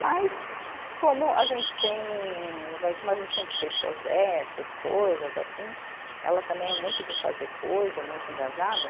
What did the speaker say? Mas como a gente tem, vai, como a gente sempre fez projetos, coisas assim, ela também é muito de fazer coisa, muito engajada.